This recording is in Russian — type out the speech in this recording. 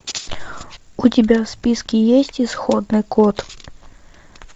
у тебя в списке есть исходный код